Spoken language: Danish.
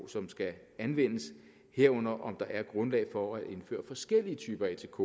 som skal anvendes herunder om der er grundlag for at indføre forskellige typer atk